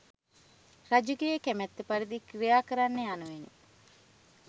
රජුගේ කැමැත්ත පරිදි ක්‍රියා කරන්න යනුවෙනි.